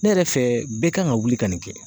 Ne yɛrɛ fɛ, bɛɛ kan ka wuli ka nin kɛ.